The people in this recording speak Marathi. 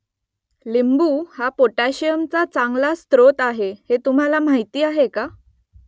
लिंबू हा पोटॅशियमचा चांगला स्रोत आहे हे तुम्हाला माहीत आहे का ?